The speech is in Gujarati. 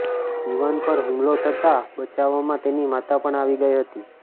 યુવાન પર હુમલો થતાં બચાવમાં તેની માતા પણ આવી ગઈ હતી